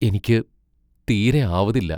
എനിക്ക് തീരെ ആവതില്ല.